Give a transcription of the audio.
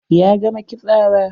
Ya gama kitsawa?